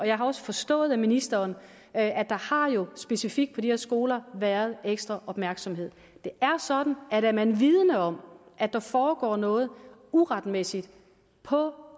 jeg har også forstået på ministeren at der specifikt på de her skoler har været ekstra opmærksomhed det er sådan at er man vidende om at der foregår noget uretmæssigt på